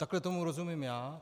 Takhle tomu rozumím já.